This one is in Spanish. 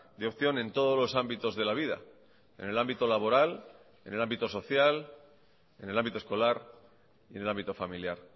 de opción en todos los ámbitos de la vida en el ámbito laboral en el ámbito social en el ámbito escolar y en el ámbito familiar